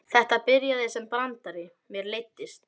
Þetta byrjaði sem brandari, mér leiddist.